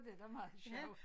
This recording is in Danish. Det da meget sjovt